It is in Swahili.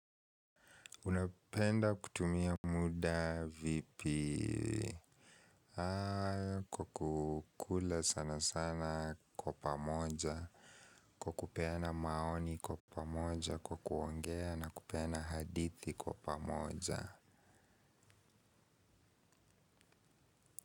Unapenda kutumia muda vipi kukula sana sana kwa pamoja, kwa kupena maoni kwa pamoja, kwa kuongea na kupeana hadithi kwa pamoja.